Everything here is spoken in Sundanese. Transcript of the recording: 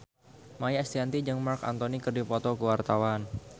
Maia Estianty jeung Marc Anthony keur dipoto ku wartawan